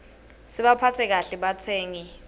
sibaphatse kahle batsengi